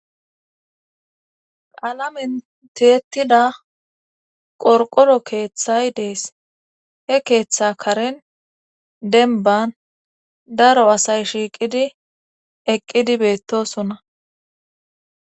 Qaalamen teettida qorqoro keeththay dees he keeththa karin denban daro asay shiiqidi eqqidi beettosona